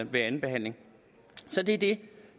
ved andenbehandlingen så det er det